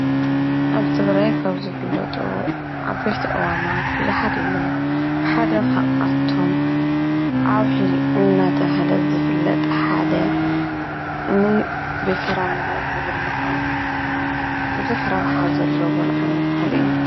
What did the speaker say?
ኣብ ትግራይ ካብ ዝፍለጡ ዓበይቲ ኣእዋማት ብዙሓት እዮም። ሓደ ካብኣቶም ኣውሒ እናተባሃለ ዝፍለጥ ሓደ ንፍረምረ ዝብላዕ ብዙሕ ረብሓ ዘለዎ ዓይነት ተኽሊ እዩ።